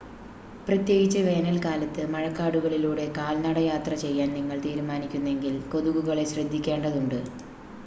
പ്രത്യേകിച്ച് വേനൽക്കാലത്ത് മഴക്കാടുകളിലൂടെ കാൽനടയാത്ര ചെയ്യാൻ നിങ്ങൾ തീരുമാനിക്കുന്നെങ്കിൽ കൊതുകുകളെ ശ്രദ്ധിക്കേണ്ടതുണ്ട്